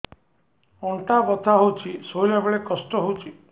ଅଣ୍ଟା ବଥା ହଉଛି ଶୋଇଲା ବେଳେ କଷ୍ଟ ହଉଛି